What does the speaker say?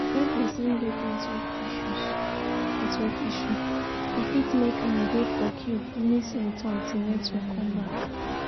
When persin get network issuse network issuse e fit make am de for queue miss im turn till network come back